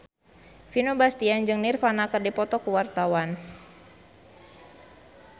Vino Bastian jeung Nirvana keur dipoto ku wartawan